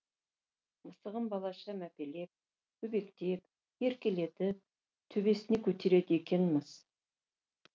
мысығын балаша мәпелеп өбектеп еркелетіп төбесіне көтереді екен мыс